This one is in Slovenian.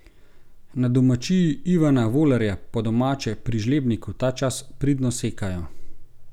Na domačiji Ivana Volerja, po domače pri Žlebniku, ta čas pridno sekajo.